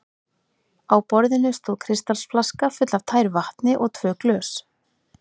Á borðinu stóð kristalsflaska full af tæru vatni og tvö glös.